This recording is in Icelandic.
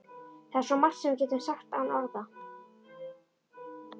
Það er svo margt sem við getum sagt án orða.